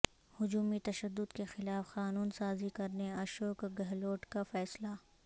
ہجومی تشدد کیخلاف قانون سازی کرنے اشوک گہلوٹ کا فیصلہ